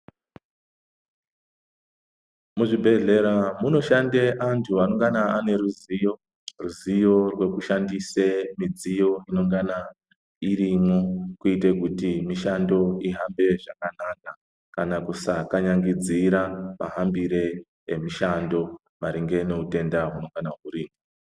Muzvibhedhlera munoshande anthu anongana aneruziyo, ruziyo rwekushandise midziyo inongana irimo, kwete kuti mishando ihambe zvakanaka kana kusakanyangidzira mahambire emishando maringe newutenda wunongana wuripo.